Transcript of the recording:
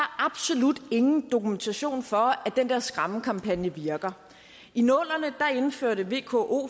absolut ingen dokumentation for at den der skræmmekampagne virker i nullerne indførte vko